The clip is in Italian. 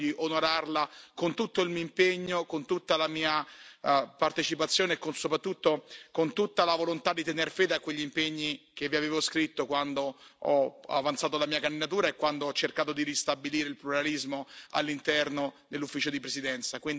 Ho cercato di onorarla con tutto l'impegno, con tutta la mia partecipazione e soprattutto con tutta la volontà di tenere fede a quegli impegni che vi avevo scritto quando ho avanzato la mia candidatura e quando ho cercato di ristabilire il pluralismo all'interno dell'Ufficio di presidenza.